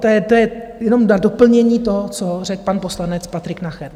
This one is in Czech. To je jenom na doplnění toho, co řekl pan poslanec Patrik Nacher.